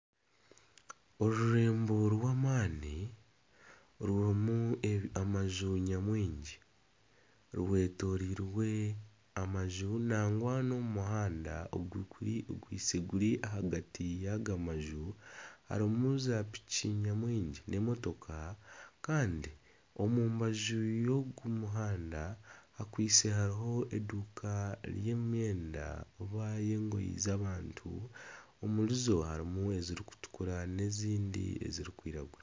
Orurembo rw'amaani rurimu amaju nyamwingi. Rwetoroirwe amaju nangwa n'omu muhanda ogukwaitse guri ahagati y'aga maju harimu zaapiki nyamwingi n'emotoka. Kandi omu mbaju y'ogu muhanda hakwaitse hariho eduuka y'emyenda oba y'engoyi z'abantu. Omuri zo harimu ezirikutukura n'ezindi ezirikwiragura.